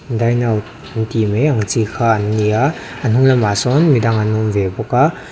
dine out antih mai ang chi kha an ni a a hnunglamah sawn midang an awm ve bawk a.